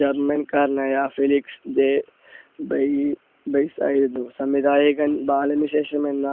german കാരനായ Felix J ഡെയി~ഡെയ്സായിരുന്നു. സംവിധായകൻ ബാലന് ശേഷം വന്ന